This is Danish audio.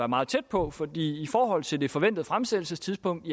meget tæt på for i forhold til det forventede fremsættelsestidspunkt